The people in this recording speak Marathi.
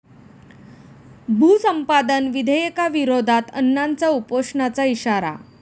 भूसंपादन विधेयकाविरोधात अण्णांचा उपोषणाचा इशारा